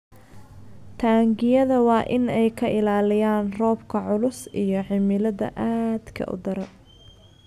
Taangiyada waa in ay ka ilaalinayaan roobka culus iyo cimilada aadka u daran.